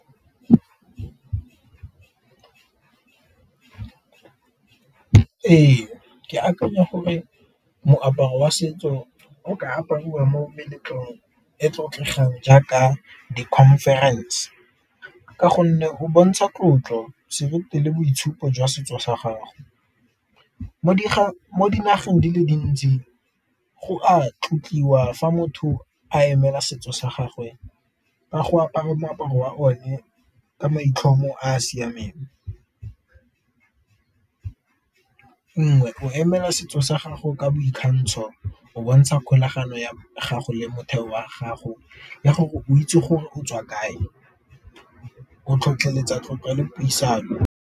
Ee, ke akanya gore moaparo wa setso o ka apariwa mo meletlong e tlotlegang jaaka di-conference, ka gonne go bontsha tlotlo seriti le boitshupo jwa setso sa gago. Mo dinageng di le dintsi go a tlotliwa fa motho a emela setso sa gagwe ka go apara moaparo wa o ne ka maitlhomo a a siameng. Nngwe go emela setso sa gago ka boikgantsho, o bontsha kgolagano ya gago le motheo wa gago ya gore o itse gore o tswa kae, o tlhotlheletsa tlotlo le puisano.